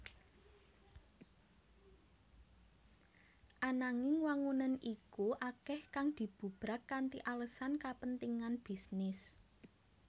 Ananging wangunan iku akeh kang dibubrak kanthi alesan kepentingan bisnis